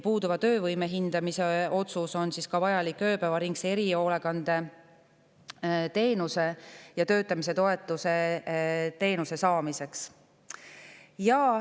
Puuduva töövõime hindamise otsus on vajalik ka ööpäevaringse erihoolekandeteenuse ja töötamise toetamise teenuse saamiseks.